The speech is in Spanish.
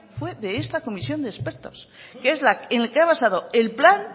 fue de esta comisión de expertos en el que ha basado el plan